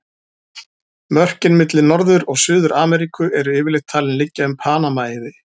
Mörkin milli Norður- og Suður-Ameríku eru yfirleitt talin liggja um Panama-eiði.